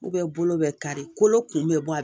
bolo bɛ kari kolo kun bɛ bɔ a la